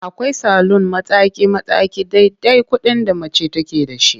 Akwai salun mataki-mataki dai-dai kuɗin da mace take da shi.